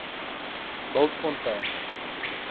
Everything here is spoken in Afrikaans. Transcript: bultfontein